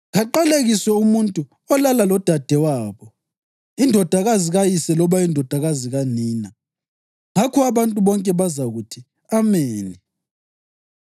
‘Kaqalekiswe umuntu olala lodadewabo, indodakazi kayise loba indodakazi kanina.’ Ngakho abantu bonke bazakuthi, ‘Ameni!’